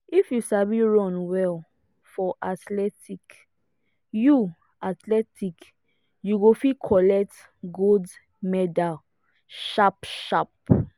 if you sabi run well for athletics you athletics you go fit collect gold medal sharp sharp.